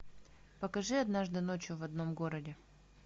покажи однажды ночью в одном городе